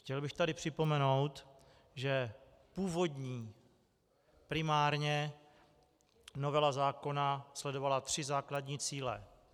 Chtěl bych tady připomenout, že původní primárně novela zákona sledovala tři základní cíle.